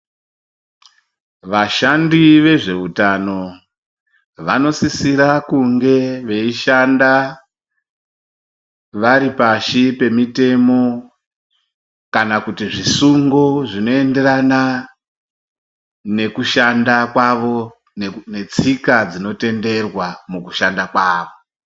Vashandi vezve utano vanosisire kunge veishanda varipashi pemitemo kana kuti zvisungo zvinoenderana nekushanda kwavo netsika dzinotenderwa mukushanda kwavo.